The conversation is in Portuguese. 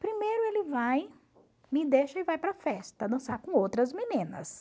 Primeiro ele vai, me deixa e vai para a festa, dançar com outras meninas.